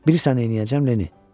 Bilirsən neyləyəcəm, Lenni?